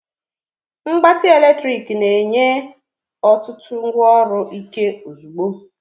Mgbatị eletrik na-enye otutu ngwaọrụ Ike ozugbo.